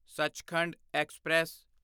Sachkhand express